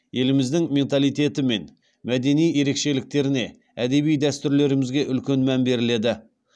еліміздің менталитеті мен мәдени ерекшеліктеріне әдеби дәстүрлерімізге үлкен мән беріледі